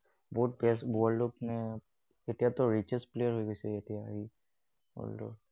বহুত বেয়া, world ত মানে, এতিয়াতো richest player হৈ গৈছে সি, world ৰ।